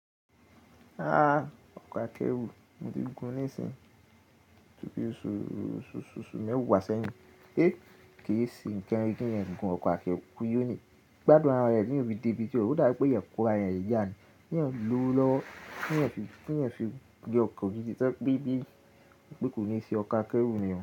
Ọkọ̀ akẹ́rù mo ti gùn ní ìsìnyi tòbí oṣù mẹ́wàá sẹ́yìn. Kì í sẹ́ nnkan ire ki ẹ̀eyan fi gùn ọkọ̀ akẹ́rù, eeyan o ní, gbádùn ara rẹ̀ teeyan o fi débi ti o n lo, ó dà bi pe eeyan kọ ara rẹ̀ n yà ni. Kí eyan lọ̀wọ̀ lọwo, kí ẹ̀eyan fi ri ọkọ̀ gidi to jẹ́ pé kò ní ṣe ọkọ̀ akẹ́rù nì o.